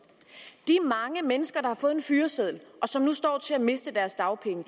de mange mennesker har fået en fyreseddel og som nu står til at miste deres dagpenge